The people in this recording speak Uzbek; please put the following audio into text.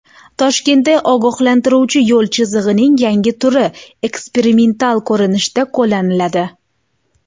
Toshkentda ogohlantiruvchi yo‘l chizig‘ining yangi turi eksperimental ko‘rinishda qo‘llaniladi.